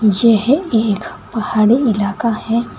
यह एक पहाड़ी इलाका है।